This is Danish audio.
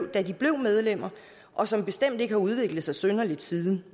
da de blev medlemmer og som bestemt ikke har udviklet sig synderligt siden